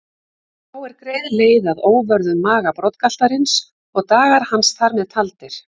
Þá er greið leið að óvörðum maga broddgaltarins og dagar hans þar með taldir.